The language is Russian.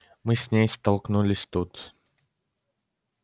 мы с ней столкнулись тут